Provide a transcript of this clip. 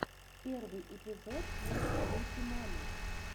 первый эпизод мисс бьюти мамы